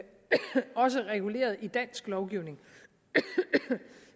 også er reguleret i dansk lovgivning